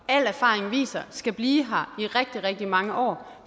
al erfaring viser skal blive her i rigtig rigtig mange år